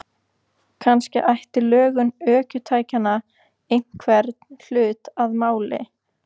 Kannski ætti lögun ökutækjanna einhvern hlut að máli.